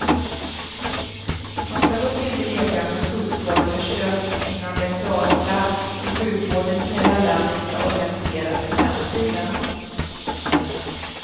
Man skall dock inte leka med fullskaleförsök innan det är klarlagt hur sjukvården i hela landet skall organiseras i framtiden.